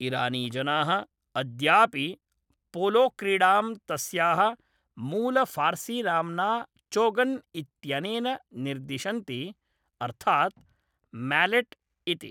इरानीजनाः अद्यापि पोलोक्रीडां तस्याः मूलफ़ार्सीनाम्ना चोगन् इत्यनेन निर्दिशन्ति, अर्थात् म्यालेट् इति।